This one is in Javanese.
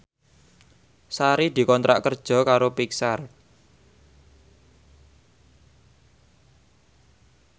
Sari dikontrak kerja karo Pixar